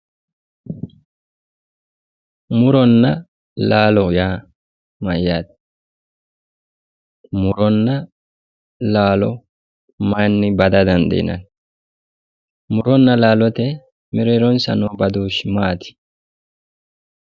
Muronna laalo yaa mayaate muronna laao mayinni bada dandiinanni muronna laalote mereeronssa noo badooshshi maati